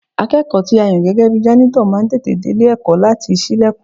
Akẹ́kọ̀ọ́ tí a yàn gẹ́gẹ́ bi jánítọ̀ máa ń tètè délé ẹ̀kọ́ láti ṣílẹ̀kùn